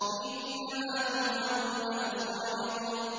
إِنَّمَا تُوعَدُونَ لَصَادِقٌ